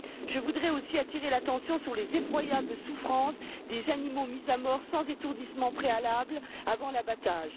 Je voudrais aussi attirer l'attention sur les effroyables souffrances des animaux mis à mort sans étourdissement préalable avant l'abattage.